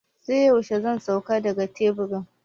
Sai yaushe zan sauka daga teburin?